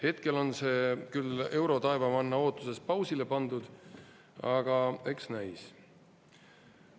Hetkel on see küll eurotaevamanna ootuses pausile pandud, aga eks näis.